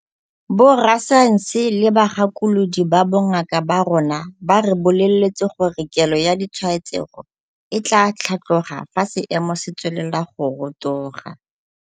Borasaense le bagakolodi ba bongaka ba rona ba re boleletse gore kelo ya ditshwaetsego e tla tlhatloga fa seemo se tswelela go rotoga.